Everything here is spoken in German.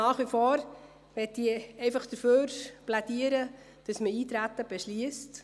Nach wie vor möchte ich dafür plädieren, dass man das Eintreten beschliesst.